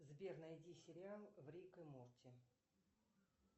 сбер найди сериал рик и морти